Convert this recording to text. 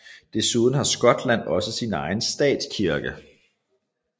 Desuden har Skotland også egen statskirke